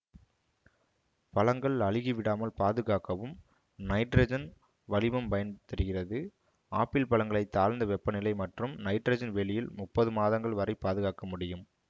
பழங்கள் அழுகி விடாமல் பாதுகாக்கவும் நைட்ரஜன் வளிமம் பயன்தருகிறது ஆப்பிள் பழங்களைத் தாழ்ந்த வெப்ப நிலை மற்றும் நைட்ரஜன் வெளியில் முப்பது மாதங்கள் வரை பாதுகாக்க முடியும்